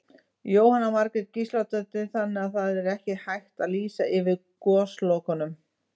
Jóhanna Margrét Gísladóttir: Þannig að það er ekki hægt að lýsa yfir goslokum?